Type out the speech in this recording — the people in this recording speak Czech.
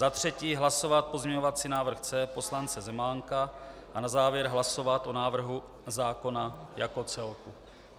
Za třetí hlasovat pozměňovací návrh C poslance Zemánka a na závěr hlasovat o návrhu zákona jako celku.